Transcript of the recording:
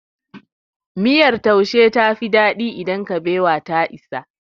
Miyar taushe ta fi daɗi idan kabewa ta isa.